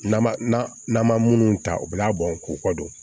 N'an ma n'an ma munnu ta u bi labɔ k'u kɔ don